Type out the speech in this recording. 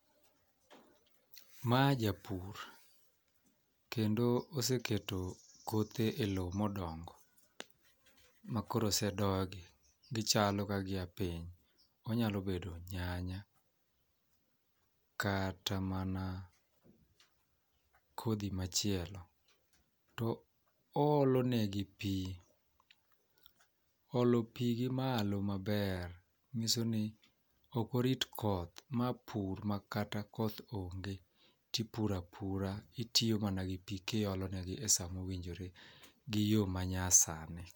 Ma japur kendo oseketo kothe e lowo modongo makoro osedogi gichalo ka gia piny. Onyalo bedo nyanya kata mana kodhi machielo. To oolo ne gi pii oolo pii gimalo maber nyiso ni ok orit koth ma pur makata koth onge tipura pura. Itiyo mana gi pii kiolo ne gi e saa mowinjore gi yoo manya sani.